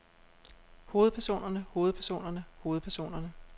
hovedpersonerne hovedpersonerne hovedpersonerne